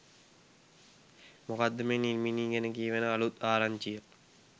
මොකක්ද මේ නිල්මිණි ගැන කියැවෙන අලුත් ආරංචිය?